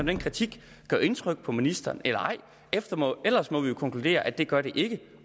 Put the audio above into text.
den kritik indtryk på ministeren eller ej ellers må vi jo konkludere at det gør den ikke